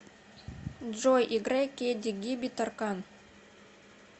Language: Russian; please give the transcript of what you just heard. джой играй кеди гиби таркан